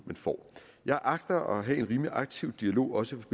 man får jeg agter at have en rimelig aktiv dialog også